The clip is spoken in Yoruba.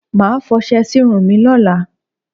Màá fọṣe sírun mi lólàa